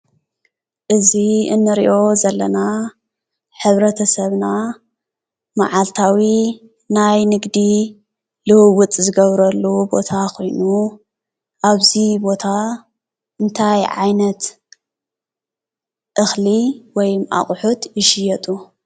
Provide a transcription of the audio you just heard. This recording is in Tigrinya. እዚ እንሪኦ ዘለና ሕብረተሰብና ማዓልታዊ ናይ ንግዲ ልውውጥ ዝገብረሉ ቦታ ኮይኑ ኣብዚ ቦታ እንታይ ዓይነት እክሊ ወይ ኣቑሑ ይሽየጡ?